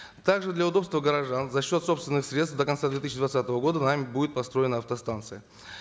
также для удобства горожан за счет собственных средств до конца две тысячи двадцатого года нами будет построена автостанция